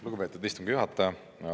Lugupeetud istungi juhataja!